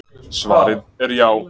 svarið er já